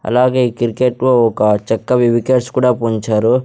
అలాగే ఈ క్రికెట్లో ఒక చెక్కవి వికెట్స్ కూడా పొంచారు .